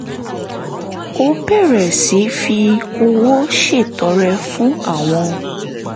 ó bẹ̀rẹ̀ sí fi owó ṣètọrẹ fún àwọn